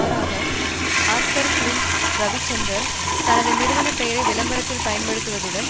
மாறாக Oscar Films Ravichandran தனது நிறுவனம் பெயரை விளம்பரத்தில் பயன்படுத்தியதுடன்